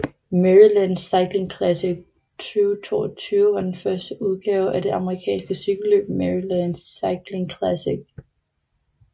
Maryland Cycling Classic 2022 var den første udgave af det amerikanske cykelløb Maryland Cycling Classic